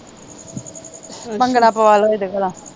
ਭੰਗੜਾ ਪਵਾ ਲੋ ਇਹ ਦੇ ਕੋਲੋਂ